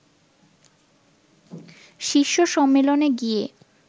শীর্ষ সম্মেলনে গিয়ে